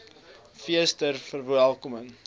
fees ter verwelkoming